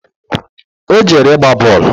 O jere ịgba boolu